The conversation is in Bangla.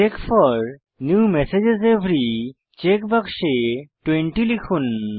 check for new messages every check বাক্সে 20 লিখুন